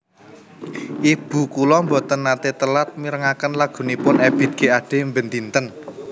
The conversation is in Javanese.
Ibu kula mboten nate telat mirengaken lagunipun Ebiet G Ade ben dinten